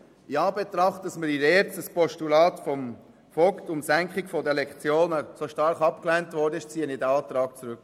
In Anbetracht dessen, dass während der Debatte zu den Themen der ERZ das Postulat Vogt zur Senkung der Lektionenzahl so stark abgelehnt wurde, ziehe ich den Antrag zurück.